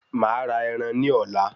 Màá ra ẹran ní ọ̀la